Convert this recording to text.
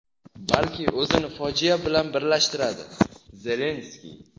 balki o‘zini fojia bilan birlashtiradi – Zelenskiy.